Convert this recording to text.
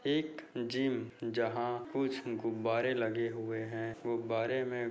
एक जिम जहाँ खूबसारे गुब्बारे लगे हुए है गुब्बारे में --